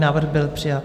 Návrh byl přijat.